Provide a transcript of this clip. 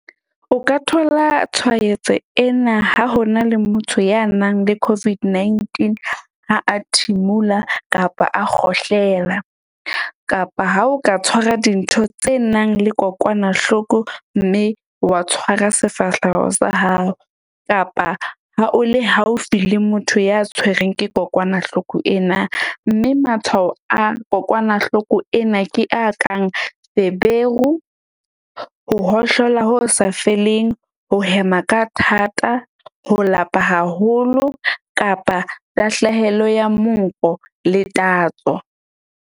O ka thola tshwaetso ena ha ho na le motho ya nang le COVID-19 ha a thimula kapa a kgohlela. Kapa ha o ka tshwara dintho tse nang le kokwanahloko. Mme wa tshwara sefahleho sa hao kapa ha o le haufi le motho ya tshwereng ke kokwanahloko ena. Mme matshwao a kokwanahloko ena ke a kang feberu, ho hohlola ho sa feleng, ho hema ka thata, ho lapa haholo kapa tahlehelo ya monko le tatso.